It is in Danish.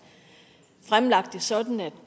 fremlagt det sådan at